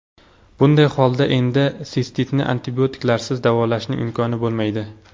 Bunday holda, endi sistitni antibiotiklarsiz davolashning imkoni bo‘lmaydi.